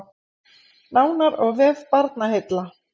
Nánar á vef Barnaheilla